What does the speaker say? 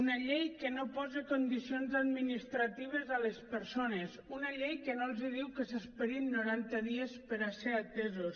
una llei que no posa condicions administratives a les persones una llei que no els diu que s’esperin noranta dies per a ser atesos